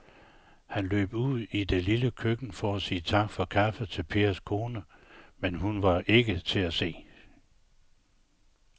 Han løb ud i det lille køkken for at sige tak for kaffe til Pers kone, men hun var ikke til at se.